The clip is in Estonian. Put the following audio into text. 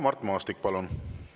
Mart Maastik, palun!